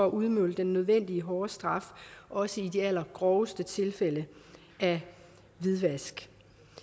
at udmåle den nødvendige hårde straf også i de allergroveste tilfælde af hvidvask